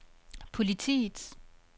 politiets